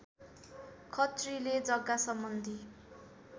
खत्रीले जग्गासम्बन्धी